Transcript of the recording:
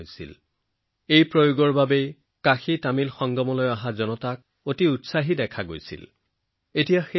কাশী তামিল সংগমমত উপস্থিত থকা লোকসকলে প্ৰযুক্তিৰ এই ব্যৱহাৰৰ পিছত যথেষ্ট উৎসাহিত হোৱা যেন লাগিল